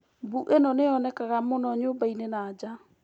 Mbuu ĩno nĩ yonekaga mũno nyũmba-inĩ na nja.